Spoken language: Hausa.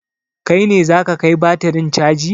Kai ne za ka kai batirin caji?